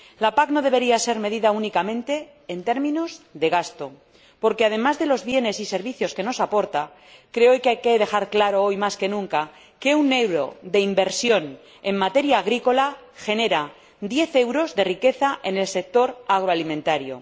La PAC no debería ser medida únicamente en términos de gasto porque, además de los bienes y servicios que nos aporta, creo que hay que dejar claro hoy más que nunca que un euro de inversión en materia agrícola genera diez euros de riqueza en el sector agroalimentario.